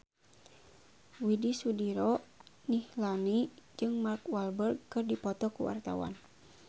Widy Soediro Nichlany jeung Mark Walberg keur dipoto ku wartawan